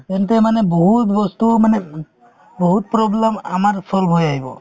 মানে বহুত বস্তুও মানে বহুত problem আমাৰ solve হৈ আহিব